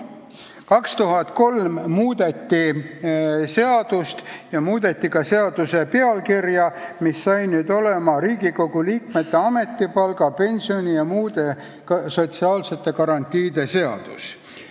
2003. aastal muudeti seadust ja ka selle pealkirja, mis sai olema "Riigikogu liikmete ametipalga, pensioni ja muude sotsiaalsete garantiide seadus.